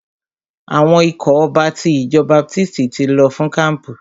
Àwọn ikọ̀ ọba ti ìjọ baptisti ti lọ fún kampu.